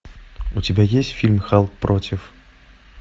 у тебя есть фильм халк против